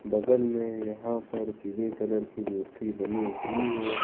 बगल में यहां पर पीले कलर की मूर्ति बनी हुई है।